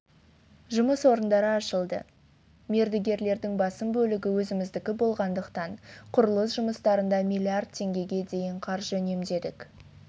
жұмыс орындары ашылды мердігерлердің басым бөлігі өзіміздікі болғандықтан құрылыс жұмыстарында миллиард теңгеге дейін қаржы үнемдедік